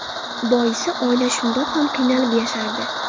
Boisi oila shundoq ham qiynalib yashardi.